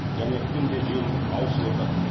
және күнде жел ауысып отырады